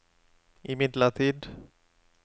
imidlertid